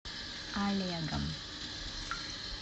олегом